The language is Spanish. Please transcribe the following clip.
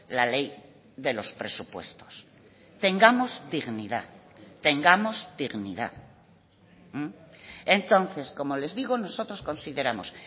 la ley de los presupuestos tengamos dignidad tengamos dignidad entonces como les digo nosotros consideramos